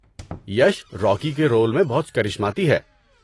یش Rocky کے role میں بہت کرشماتی ہے۔